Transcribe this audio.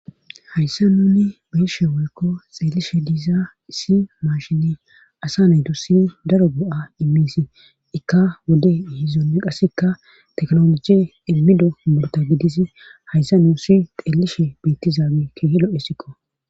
hayssa nuni beeshe woykko xeellishe diiza issi mashini asa naydussi daro go7a immisi ikka wode ihizonne qassekka teknologi immido murta gidis hayssa nuusi xeellishe beettizaabe kehilo7essikko